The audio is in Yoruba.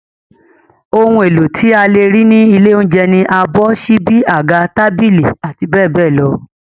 Ohun èlò tí a lè rí ní ilé oúnjẹ ni abọ́, ṣíbí, àga, tábìlì, abbl.